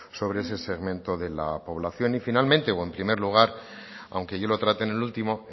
sobre ese segmento de la población y finalmente o en primer lugar aunque yo lo trate en el último